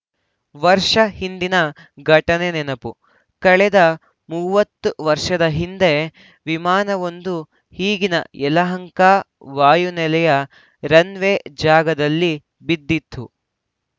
ವರ್ಷಹಿಂದಿನ ಘಟನೆ ನೆನಪು ಕಳೆದ ಮೂವತ್ತು ವರ್ಷದ ಹಿಂದೆ ವಿಮಾನವೊಂದು ಈಗಿನ ಯಲಹಂಕ ವಾಯು ನೆಲೆಯ ರನ್‌ವೇ ಜಾಗದಲ್ಲಿ ಬಿದ್ದಿತ್ತು